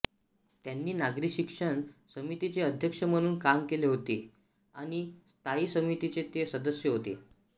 त्यांनी नागरी शिक्षण समितीचे अध्यक्ष म्हणून काम केले होते आणि स्थायी समितीचे ते सदस्य होते